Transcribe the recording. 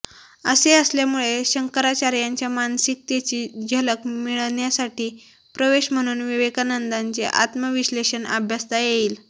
असे असल्यामुळे शंकराचार्यांच्या मानसिकतेची झलक मिळण्यासाठी प्रवेश म्हणून विवेकानंदांचे आत्मविश्लेषण अभ्यासता येईल